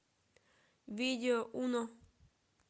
видео уно